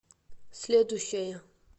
следующая